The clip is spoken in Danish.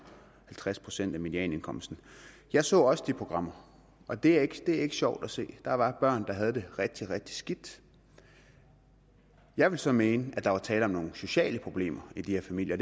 halvtreds procent af medianindkomsten jeg så også de programmer og det er ikke sjovt at se der var børn der havde det rigtig rigtig skidt jeg vil så mene at der var tale om nogle sociale problemer i de her familier